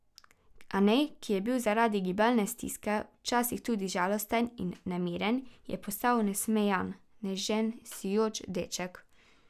Anej, ki je bil zaradi gibalne stiske včasih tudi žalosten in nemiren, je postal nasmejan, nežen, sijoč deček.